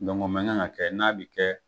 o man kan ka kɛ n'a bi kɛ